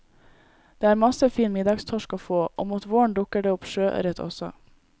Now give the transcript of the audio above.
Det er masse fin middagstorsk å få, og mot våren dukker det opp sjøørret også.